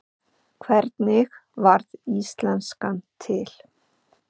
Hvernig varð íslenskan til?